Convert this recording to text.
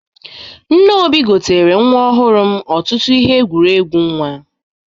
Nne Obi gotere nwa ọhụrụ m ọtụtụ ihe ekwuregwu nwa.